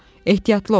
Ehtiyatlı ol!